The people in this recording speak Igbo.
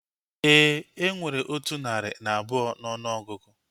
Éè, enwere otu narị na abụọ n'ọnụ ọgụgụ